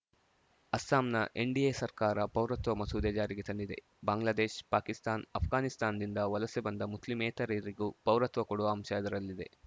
ಅಸ್ಸಾಂನ ಎನ್‌ಡಿಎ ಸರ್ಕಾರ ಪೌರತ್ವ ಮಸೂದೆ ಜಾರಿಗೆ ತಂದಿದೆ ಬಾಂಗ್ಲಾದೇಶ್ ಪಾಕಿಸ್ತಾನ್ ಆಷ್ಘಾನಿಸ್ತಾನದಿಂದ ವಲಸೆ ಬಂದ ಮುಸ್ಲಿಮೇತರರಿಗೂ ಪೌರತ್ವ ಕೊಡುವ ಅಂಶ ಅದರಲ್ಲಿದೆ